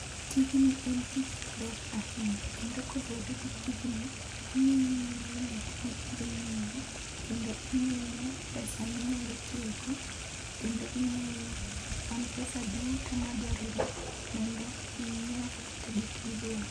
Tijni en tich maber ahinya kendo koluwore gi tijni ing'iyo gik midhi nyiewo kendo ing'iyo pesa minyalo tiyo go kendo ing'iyo kwan pesa duto madwarore mondo inyiewgo kata gik midwaro.